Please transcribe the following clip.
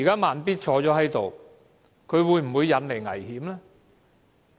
"慢咇"現時在席，他會否引來危險呢？